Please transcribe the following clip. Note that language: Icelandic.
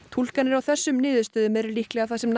túlkanir á þessum niðurstöðum eru líklega það sem